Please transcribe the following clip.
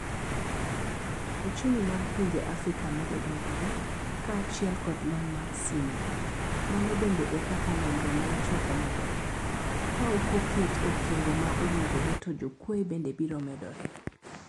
Ochumi mag pinje Afrika medo dongore, kaachiel kod lony mar simo. Mano bende e kaka nonro maichoko medore. Ka okoket okenge maowinjore to jokwoe bende biro medore.